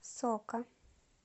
сока